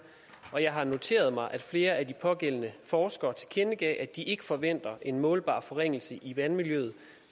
og jeg har noteret mig at flere af de pågældende forskere tilkendegav at de ikke forventer en målbar forringelse i vandmiljøet